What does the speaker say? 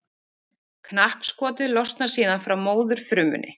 Knappskotið losnar síðan frá móðurfrumunni.